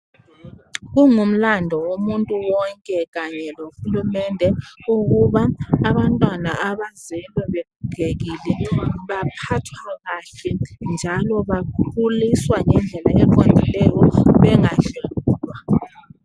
Kungumlandu womuntu wonke kanye loHulumende ukuba abantwana abazelwe begogekile baphathwe kahle njalo bakhuliswa ngendlela eqondileyo bengadlwengulwa